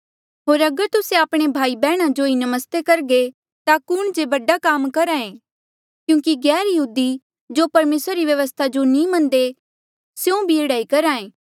होर अगर तुस्से आपणे भाई बैहणा जो ही नमस्ते करघे ता कुण जे बडा काम करहा ऐें क्यूंकि गैरयहूदी जो परमेसरा री व्यवस्था जो नी मन्नदे स्यों भी एह्ड़ा करहे